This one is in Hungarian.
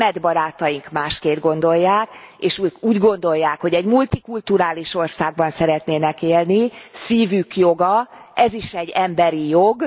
német barátaink másként gondolják, és úgy gondolják, hogy egy multikulturális országban szeretnének élni, szívük joga, ez is egy emberi jog.